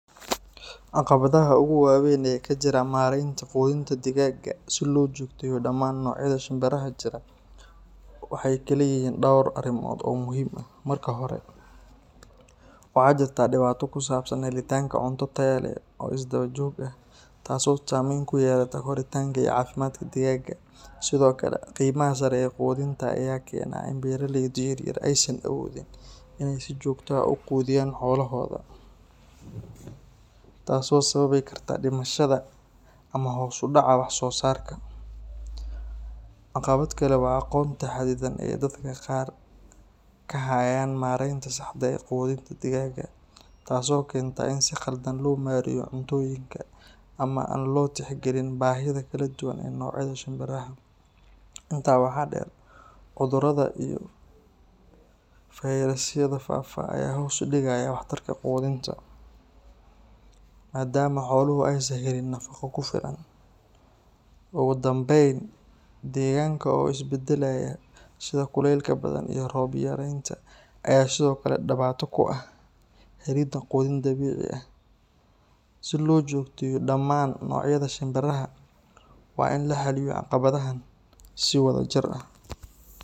Caqabadaha ugu waaweyn ee ka jira maaraynta quudinta digaagga si loo joogteeyo dhammaan noocyada shimbiraha jira waxay kala yihiin dhowr arrimood oo muhiim ah. Marka hore, waxaa jirta dhibaato ku saabsan helitaanka cunto tayo leh oo isdaba joog ah, taas oo saamayn ku yeelata koritaanka iyo caafimaadka digaagga. Sidoo kale, qiimaha sare ee quudinta ayaa keena in beeralayda yaryar aysan awoodin inay si joogto ah u quudiyaan xoolahooda, taasoo sababi karta dhimashada ama hoos u dhaca wax soo saarka. Caqabad kale waa aqoonta xaddidan ee dadka qaar ka hayaan maaraynta saxda ah ee quudinta digaagga, taasoo keenta in si khaldan loo maareeyo cuntooyinka, ama aan loo tixgelin baahida kala duwan ee noocyada shimbiraha. Intaa waxaa dheer, cudurrada iyo fayrasyada faafa ayaa hoos u dhigaya waxtarka quudinta, maadaama xooluhu aysan helin nafaqo ku filan. Ugu dambayn, deegaanka oo is beddelaya sida kulaylka badan iyo roob yaraanta ayaa sidoo kale dhibaato ku ah helidda quudin dabiici ah. Si loo joogteeyo dhammaan noocyada shimbiraha, waa in la xalliyo caqabadahan si wadajir ah.